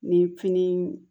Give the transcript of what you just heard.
Ni fini